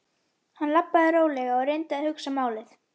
Hann labbaði rólega og reyndi að hugsa málið.